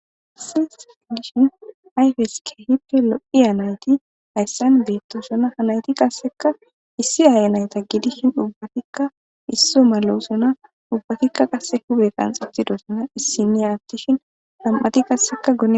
issi s dishin ayfeske hippe lo7i hanayti hayssan beetto sona hanayti qasseka issi aaya nayta giidishin ubbatikka isso malo sona ubbatikka qasse hube qanxabtido sona issi niya attishin lam7ati qasseka gon